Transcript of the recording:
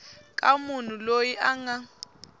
ka munhu loyi a nga